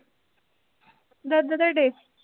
ਦੁੱਧ ਦੇੜੇ